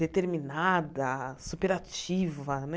Determinada, super ativa, né?